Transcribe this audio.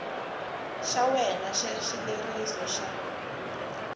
xa wena xa xileriso xa